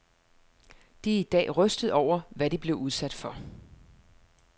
De er i dag rystede over, hvad de blev udsat for.